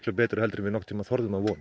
betur en við þorðum að vona